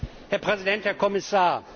Herr Präsident, Herr Kommissar!